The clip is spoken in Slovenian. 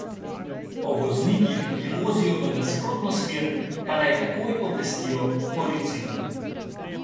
O voznikih, ki vozijo v nasprotno smer, pa naj takoj obvestijo policijo.